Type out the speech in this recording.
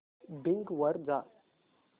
Bing वर जा